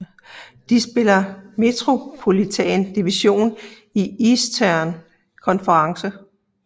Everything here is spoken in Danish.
De spiller i Metropolitan Division i Eastern Conference